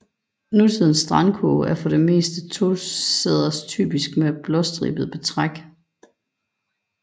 Nutidens strandkurve er for det meste tosæders typisk med blåstribet betræk